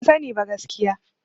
Ban sani ba, gaskiya.